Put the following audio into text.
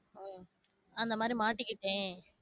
அஹ் அந்த மாரி மாட்டிக்கிட்டேன்